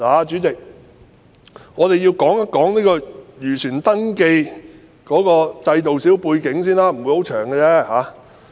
主席，讓我說說漁船登記制度的背景，我不會說太久。